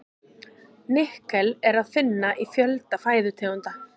Nikkel er að finna í fjölda fæðutegunda.